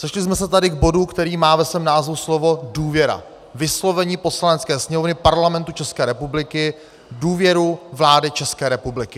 Sešli jsme se tady k bodu, který má ve svém názvu slovo důvěra, vyslovení Poslanecké sněmovny Parlamentu České republiky důvěry vládě České republiky.